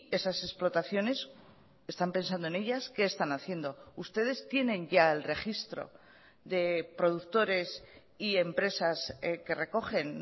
esas explotaciones están pensando en ellas qué están haciendo ustedes tienen ya el registro de productores y empresas que recogen